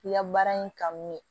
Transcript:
I ka baara in kanu ye